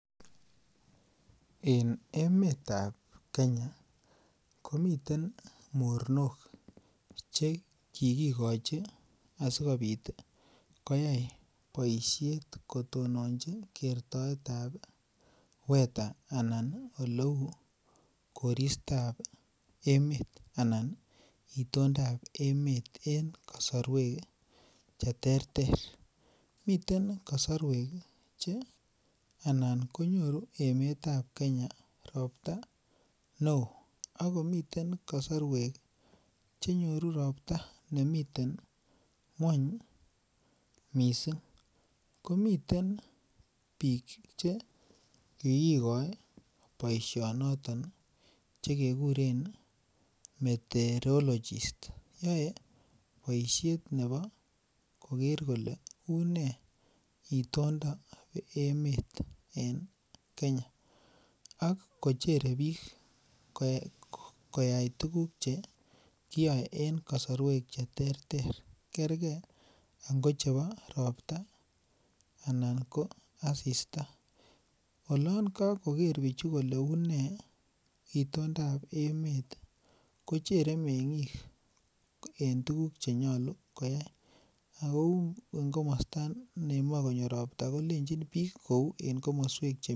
En emetab Kenya komiten mornok chekikikochi asikobit koyai boishet kotononji kertoetab weather anan kotononji ngalekab eleu koristo emet anan itondab emet en kosoruek cheterter miten kosoruek che anan konyoru emetab Kenya ropta neo ak komiten kosoruek chenyoru ropta nemiten ngwony missing' komiten bik chekikikoi boishonoto chekekuren meteorologist cheyoe boishet ana koker kole unee indondo nebo emet en Kenya ak kocherek bik koyai tugul cheyoe en kosoruek cheterter kerker ingochebo ropta anan ko asista olon kokoker bichu kole unee indondab emet kochere temik en tuguk chemokoyai kou en komosto nemoche konyo ropta kolenjik kou en komoswek.